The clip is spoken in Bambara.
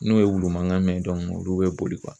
N'o ye wulu mankan mɛn olu bɛ boli